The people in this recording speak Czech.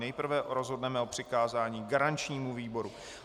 Nejprve rozhodneme o přikázání garančnímu výboru.